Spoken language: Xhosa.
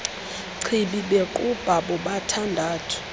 chibi bequbha bobathandathu